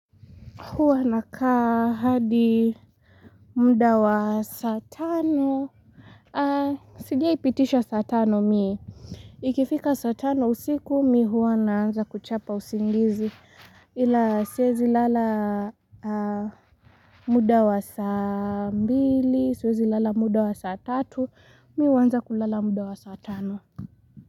Hua nakaa hadi muda wa saa tano. Sijai pitisha saa tano mie. Ikifika satano usiku mi hua naanza kuchapa usingizi. Ila siezi lala muda wa saa mbili, siezi lala muda wa saa tatu, mi huanza kulala muda wa saa tano.